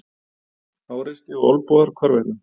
Háreysti og olnbogar hvarvetna.